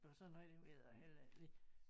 Og sådan noget det ved jeg heller ikke lige